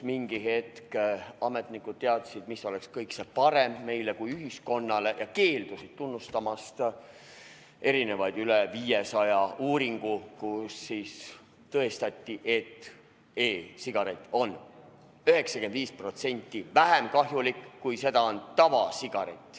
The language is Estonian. Mingi hetk ametnikud teadsid, mis on kõige parem meile kui ühiskonnale, ja keeldusid tunnustamast rohkem kui 500 uuringut, millega tõestati, et e-sigaret on 95% vähem kahjulik kui tavasigaret.